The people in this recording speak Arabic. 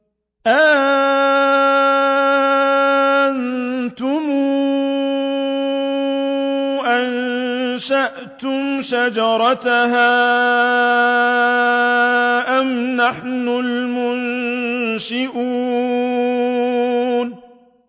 أَأَنتُمْ أَنشَأْتُمْ شَجَرَتَهَا أَمْ نَحْنُ الْمُنشِئُونَ